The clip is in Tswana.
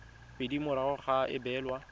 pedi morago ga go abelwa